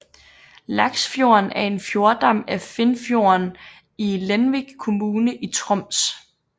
Laksfjorden er en fjordarm af Finnfjorden i Lenvik kommune i Troms